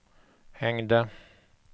hängde